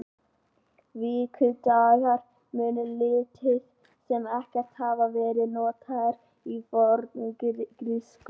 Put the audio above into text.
Vikudagar munu lítið sem ekkert hafa verið notaðir í forngrísku.